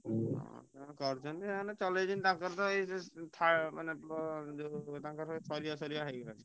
ହଁ ସେ କରୁଛନ୍ତି ସେମାନେ ଚଳେଇଛନ୍ତି ତାଙ୍କର ତ ସରିବା ସରିବା ହେଇଗଲାଣି।